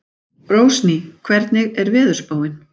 Rósný, hvernig er veðurspáin?